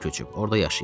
Orda yaşayır.